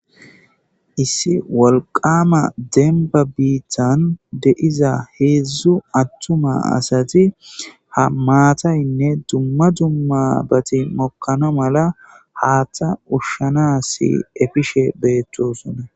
Issi wolqqama dembba biitan deiiza heezhzhu attuma asati ha mattaynne dumma dummabbati mookana malla haaththa ushshanas effishe bettossona.